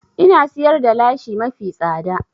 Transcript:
Ina siyar da lashi mafi tsada